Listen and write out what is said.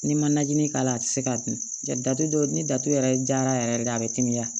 N'i ma najini k'a la a tɛ se ka dun ja dɔ ni datugu yɛrɛ jara yɛrɛ de ye a bɛ timiya